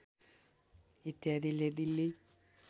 इत्यादिले Delhi